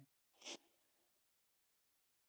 þetta er keðjuverkun